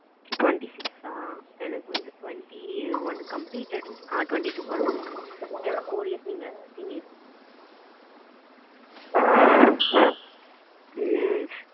twenty six ஆ எனக்கு வந்து twenty one completed ஆ twenty two பொறந்து இருக்கு என்னோட four years நீங்க senior ம்